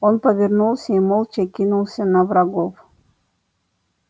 он повернулся и молча кинулся на врагов